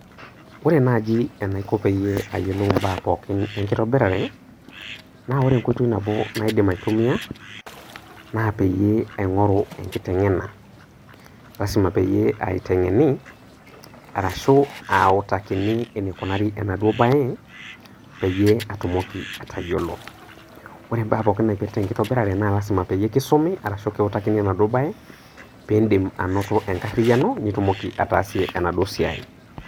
Ore naaji enaiko peyie ayiolou imbaa pooki enkitobirare, naa ore enkoitoi nabo naidim aitumia naa peyie aingoru enkitengena. Lasima peyie aitengeni ashu aautakini enaikunari enaduo bae peyie etumoki atayiolo. Ore mpaa pooki naipirta enlitobirare naa lasima peyie kiutakini enaduo baye. Piindim anoto enkariyiano nitumoki ataasie enaduo siai